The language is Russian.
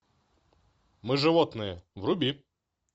мы животные вруби